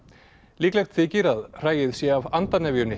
líklegt þykir að hræið sé af